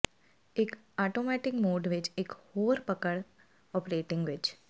ਇੱਕ automatic mode ਵਿੱਚ ਇੱਕ ਹੋਰ ਪਕੜ ਓਪਰੇਟਿੰਗ ਵਿੱਚ